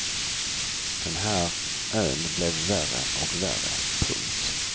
Den här ön blev värre och värre. punkt